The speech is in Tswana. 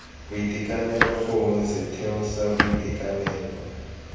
boitekanelo gongwe setheo sa boitekanelo